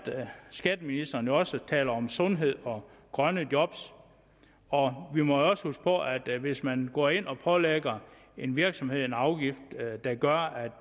skatteministeren også taler om sundhed og grønne job og vi må jo også huske på at hvis man går ind og pålægger en virksomhed en afgift der gør